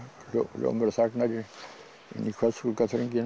hljómurinn þagnar inn í